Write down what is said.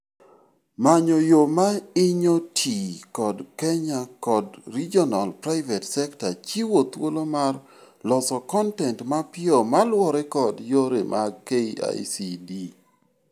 Manyo yoo ma inyo tii kod Kenya kod regional private sekta chiyo thulo mar loso kontent mapiyo maluore kod yore mag KICD